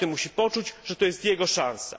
Każdy musi poczuć, że to jest jego szansa.